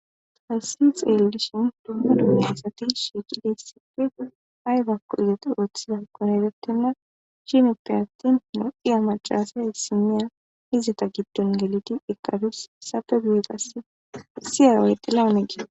tassi x ellishin dumma dunaesati shiiqidiissippe aybakko izate ooththiza konaytotinna chimippe atpti noxiya macalasay issimiya izata gibdon geliti ekadus sape gu7eqasse issiyawayxila unege